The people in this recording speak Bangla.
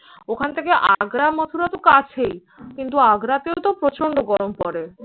ওখান থেকে আগ্রা, মথুরাতো কাছেই। কিন্তু আগ্রাতেও তো প্রচন্ড গরম পরে।